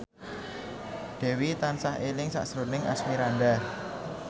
Dewi tansah eling sakjroning Asmirandah